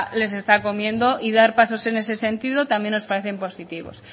les está comiendo y dar pasos en ese sentido también nos parece positivos